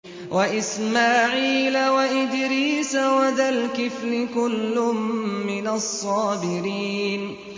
وَإِسْمَاعِيلَ وَإِدْرِيسَ وَذَا الْكِفْلِ ۖ كُلٌّ مِّنَ الصَّابِرِينَ